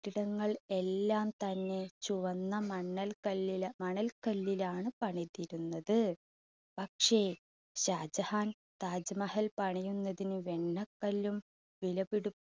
ട്ടിടങ്ങൾ എല്ലാം തന്നെ ചുവന്ന മണ്ണൽ കല്ലിലാ, മണൽ കല്ലിലാണ് പണിതിരുന്നത്. പക്ഷേ ഷാജഹാൻ താജ് മഹൽ പണിയുന്നതിന് വെണ്ണക്കല്ലും വിലപിടി